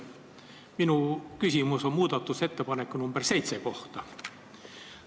Minu küsimus on muudatusettepaneku nr 7 kohta.